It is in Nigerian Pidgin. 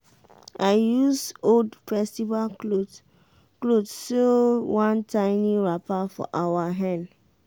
i use old festival cloth cloth sew one tiny wrapper for our hen.